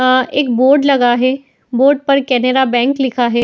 अ एक बोर्ड लगा है बोर्ड पर कैनेरा बैंक लिखा हैं।